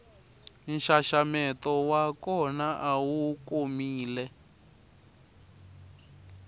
nxaxameto wa kona awu komile